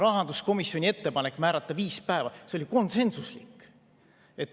Rahanduskomisjoni ettepanek määrata viis päeva oli konsensuslik.